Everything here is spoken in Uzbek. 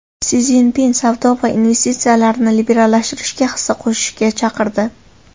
Si Szinpin savdo va investitsiyalarni liberallashtirishga hissa qo‘shishga chaqirdi.